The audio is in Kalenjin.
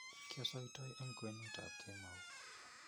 kiosoitoi eng kwenutab kemou